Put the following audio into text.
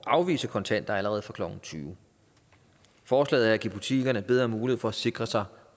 at afvise kontanter allerede fra klokken tyvende forslaget at give butikkerne bedre mulighed for at sikre sig